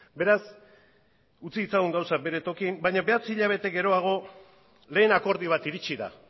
beraz utzi ditzagun gauzak bere tokian baina bederatzi hilabete geroago lehen akordio bat iritsi da